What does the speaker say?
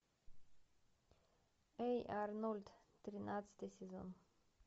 эй арнольд тринадцатый сезон